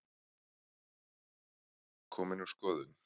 Komin úr skoðun